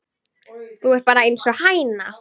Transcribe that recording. Þú ert bara einsog hæna.